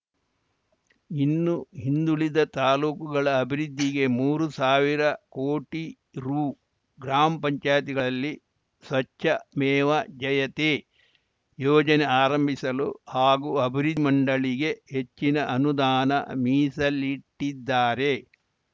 ಇನ್ನು ಹಿಂದುಳಿದ ತಾಲೂಕುಗಳ ಅಭಿವೃದ್ಧಿಗೆ ಮೂರು ಸಾವಿರ ಕೋಟಿ ರು ಗ್ರಾಮ್ಪಂಚಾಯ್ತಿಗಳಲ್ಲಿ ಸ್ವಚ್ಛಮೇವ ಜಯತೆ ಯೋಜನೆ ಆರಂಭಿಸಲು ಹಾಗೂ ಅಭಿವೃದ್ಧಿ ಮಂಡಳಿಗೆ ಹೆಚ್ಚಿನ ಅನುದಾನ ಮೀಸಲಿಟ್ಟಿದ್ದಾರೆ